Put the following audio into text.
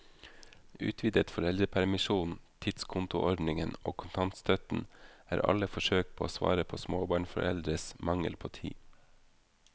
Utvidet foreldrepermisjon, tidskontoordningen og kontantstøtten er alle forsøk på å svare på småbarnforeldres mangel på tid.